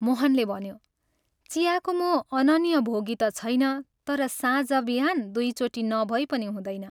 मोहनले भन्यो, "चियाको म अनन्य भोगी ता छैन, तर साँझ बिहान दुइचोटि नभई पनि हुँदैन।